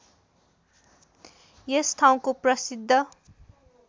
यस ठाउँको प्रसिद्ध